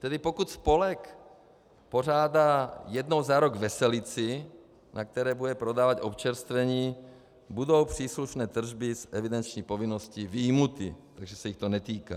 Tedy pokud spolek pořádá jednou za rok veselici, na které bude prodávat občerstvení, budou příslušné tržby z evidenční povinnosti vyjmuty, takže se jich to netýká.